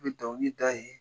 N bɛ dɔnkilid'a ye.